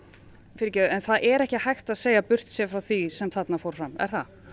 fyrirgefðu en það er ekki hægt að segja burtséð frá því sem þarna fór fram er það